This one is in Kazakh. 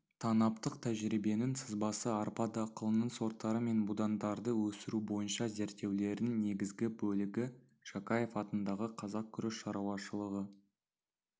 танаптық тәжірибенің сызбасы арпа дақылының сорттары мен будандарды өсіру бойынша зерттеулердің негізгі бөлігі жақаев атындағы қазақ күріш шаруашылығы